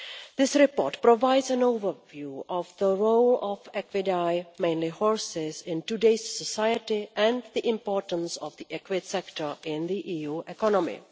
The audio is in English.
This report provides an overview of the role of equidae, mainly horses, in today's society and the importance of the equid sector in the EU economy.